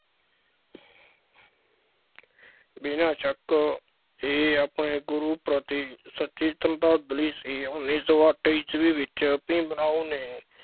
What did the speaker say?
ਬਿਨਾ ਸ਼ੱਕ ਇਹ ਆਪਣੇ ਗੁਰੂ ਪ੍ਰਤੀ ਸੱਚੀ ਸਰਧਾਂਜ਼ਲੀ ਸੀ, ਉੱਨੀ ਸੌ ਅੱਠ ਈਸ਼ਵੀ ਵਿੱਚ ਭੀਮ ਰਾਓ ਨੇ,